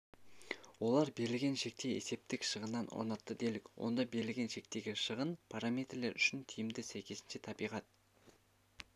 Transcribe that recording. олар берілген шекте есептік шығынын орнатты делік онда берілген шектегі шығын параметрлер үшін тиімді сәйкесінше табиғат